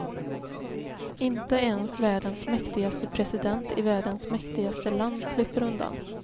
Inte ens världens mäktigaste president i världens mäktigaste land slipper undan.